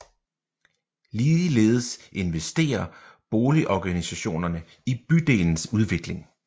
Ligeledes investerer boligorganisationerne i bydelens udvikling